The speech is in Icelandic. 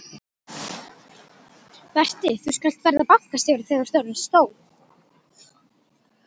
Berti þú skalt verða bankastjóri þegar þú ert orðinn stór!